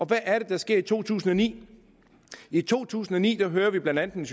hvad er det der sker i 2009 i to tusind og ni hører vi blandt andet